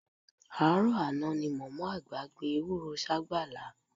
Àárọ̀ àná ni mọ̀mọ́ àgbà gbin ewúró ságbàlá